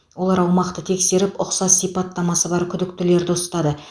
олар аумақты тексеріп ұқсас сипаттамасы бар күдіктілерді ұстады